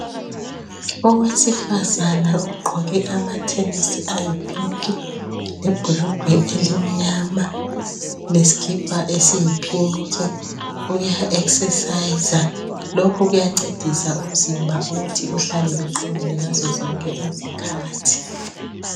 Owesifazana ogqoke amathenisi ayipinki lebhulugwe elimnyama lesikipa esiyipinki uya ekhisesayiza lokhu kuyancedisa ukuthi umzimba uhlale uqinile ngazo zonke izikhathi